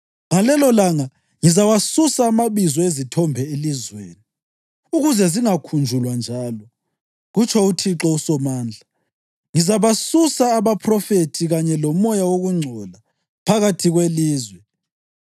Ngalelolanga ngizawasusa amabizo ezithombe elizweni ukuze zingakhunjulwa njalo,” kutsho uThixo uSomandla. “Ngizabasusa abaphrofethi kanye lomoya wokungcola phakathi kwelizwe.